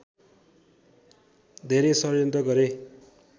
धेरै षड्यन्त्र गरे